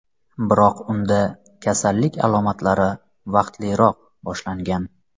Biroq unda kasallik alomatlari vaqtliroq boshlangan.